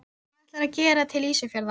Og hvað ætlarðu að gera til Ísafjarðar?